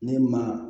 Ne ma